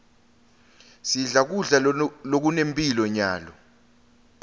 sidle kudla lokunemphilo nyalo